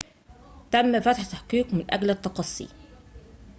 تم فتح تحقيق من أجل التقصي